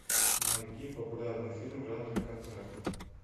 найди популярный фильм в жанре концерт